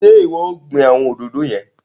Ṣe iwọ o gbìn awọn òdodo yẹn?